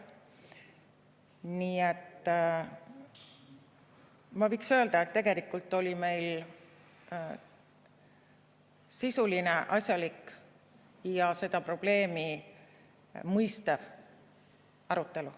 Nii et ma võiks öelda, et tegelikult oli meil sisuline, asjalik ja seda probleemi mõistev arutelu.